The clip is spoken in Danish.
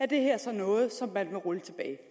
det her så noget som man vil rulle